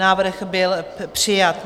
Návrh byl přijat.